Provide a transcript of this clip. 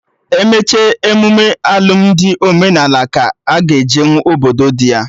Emecha emụme alụmdi omenala ka ọ ga ejenwu obodo dị ya